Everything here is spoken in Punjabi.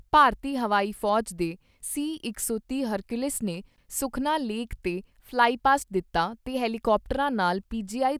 ਭਾਰਤੀ ਹਵਾਈ ਫੌਜ ਦੇ ਸੀ ਇਕ ਸੌ ਤੀਹ ਹਰਕਿਊਲਿਸ ਨੇ ਸੁਖਨਾ ਲੇਕ ਤੇ ਫਲਾਈ ਪਾਸਟ ਦਿੱਤਾ ਤੇ ਹੈਲੀਕਾਪਟਰਾਂ ਨਾਲ ਪੀ ਜੀ ਆਈ